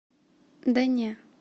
да не